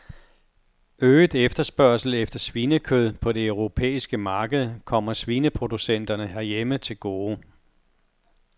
Øget efterspørgsel efter svinekød på det europæiske marked kommer svineproducenterne herhjemme til gode.